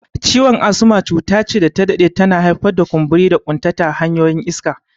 Ciwon asma cuta ce da ta dade tana haifar da kumburi da ƙuntata hanyoyin iska.